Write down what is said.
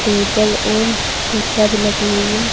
Table और कुर्सियां भी लगी हुई है।